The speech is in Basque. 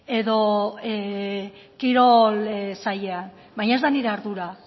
edo kirol sailean baina ez da nire ardura